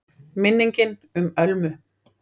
MINNINGIN UM ÖLMU